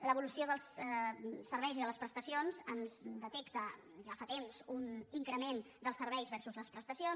l’evolució dels serveis i de les prestacions ens detecta ja fa temps un increment dels serveis versus les prestacions